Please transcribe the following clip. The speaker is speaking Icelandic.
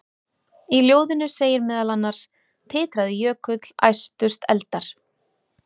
Í ljóðinu segir meðal annars: Titraði jökull, æstust eldar,